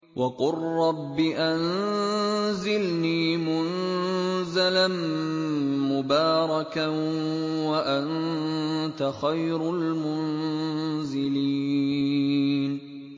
وَقُل رَّبِّ أَنزِلْنِي مُنزَلًا مُّبَارَكًا وَأَنتَ خَيْرُ الْمُنزِلِينَ